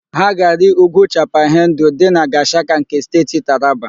Ha ga-arị úgwú Chapal Hendu dị na Gashaka nke Steeti Taraba.